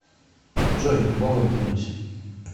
джой богом клянусь